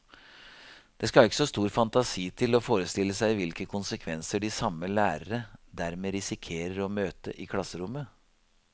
Det skal ikke så stor fantasi til å forestille seg hvilke konsekvenser de samme lærere dermed risikerer å møte i klasserommet.